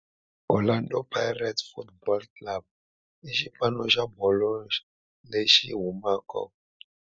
Orlando Pirates Football Club i xipano xa bolo ya milenge lexi humaka eSoweto, xifundzha xa Joni, Afrika-Dzonga.